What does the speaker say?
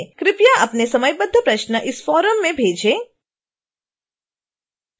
कृपया अपने समयबद्ध प्रश्न इस फ़ोरम में भेजें